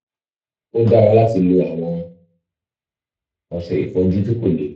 ó dára láti lo àwọn ọṣẹ ìfọ-ojú tí kò le